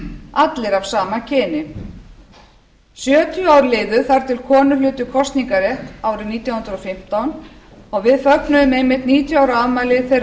allir af sama kyni sjötíu ár liðu þar til konur hlutu kosningarrétt árið nítján hundruð og fimmtán og við fögnuðum einmitt níutíu ára afmæli þeirrar